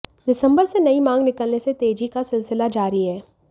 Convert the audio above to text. दिसंबर से नई मांग निकलने से तेजी का सिलसिला जारी है